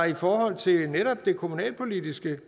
i forhold til det kommunalpolitiske